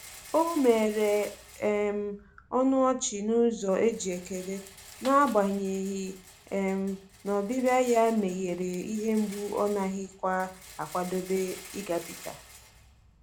O mere um ọnụ ọchị n’ụzọ e ji ekele, n'agbanyeghi um na ọbịbịa ya meghere ihe mgbu ọ naghịkwa akwadebe ịgabiga.